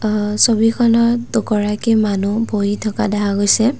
আ ছবিখনত দুগৰাকী মানুহ বহি থকা দেখা গৈছে।